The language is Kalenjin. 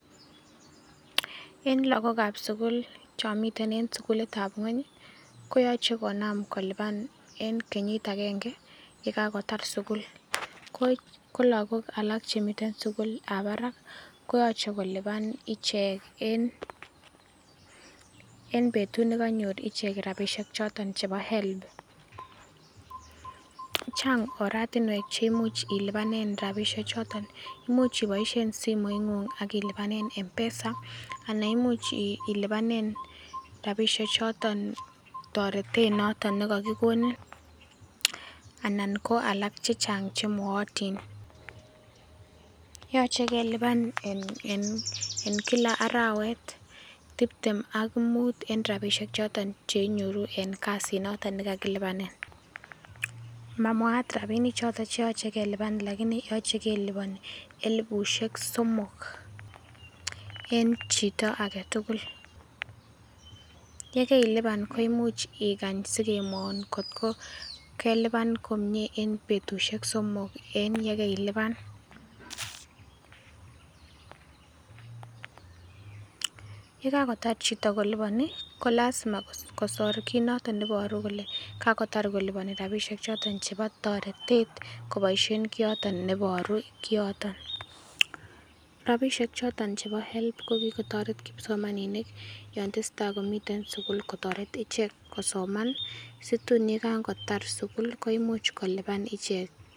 En lagok ab sugul chon miten en sugulit ab ng'weny koyoche konam kolipan en kenyit agenge ye kagotar sugul. Ko lagok alak chemiten sugulitab barak koyoche kolipan ichek en betut ne kanyor ichek rabinik choton chebo HELB. Chang oratinwek che imuch ilapnen rabishek choton, imuch ibooisien simoing'ung ak ilipanen M-Pesa anan imuch eilipanen rabishek choton toretet noton kokikonin. Anan ko alak che chang che nootin. Yoche kelipan en kila arawet tibtem ak mut en rabisiek choton ch einyoru en kasit noton ne kakilipani. Mamwaat rabinik choton che magat kelipan lakini yoche kelipan elibushek somok en chito age tugul. Ye kelipan koimuch igany sikemwoun kotko kelipan komie ne betushek somok en ye keilipan. Ye kagotar chito kolipani ko lazima kosor kiit noton ne iboru kole kagotar koliboni rabishek chooton chebo toretet koboisien kiiyoton ne iboru kiyoto. Rabishek choton chebo HELB ko kigotoret kipsomaninik yon tesetai komiten sugul kotoret ichek kosoman situn ye kagotar sugul koimuch kolipan ichek.